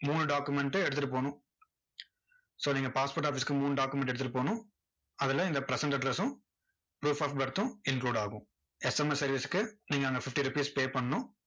மூணு document அ எடுத்துட்டு போகணும் so நீங்க passport office க்கு மூணு document எடுத்துட்டு போகணும். அதுல இந்த present address ம் proof of birth ம் include ஆகும் SMS service க்கு, நீங்க அங்க fifty rupees pay பண்ணணும்